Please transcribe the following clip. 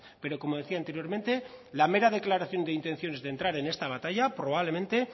pero como decía anteriormente la mera declaración de intenciones de entrar en esta batalla probablemente